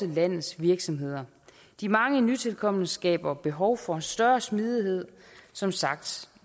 landets virksomheder de mange nytilkomne skaber behov for større smidighed som sagt